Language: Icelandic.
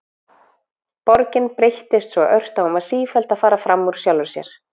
Borgin breyttist svo ört að hún var sífellt að fara frammúr sjálfri sér.